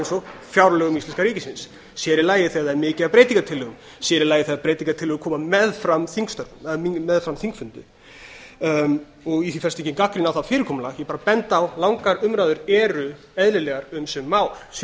og fjárlögum íslenska ríkisins sér í lagi þegar það er mikið af breytingartillögum sér í lagi þegar breytingartillögur koma meðfram þingfundi í því felst engin gagnrýni á það fyrirkomulag ég er bara að benda á að langar umræður eru eðlilegar um sum mál sér í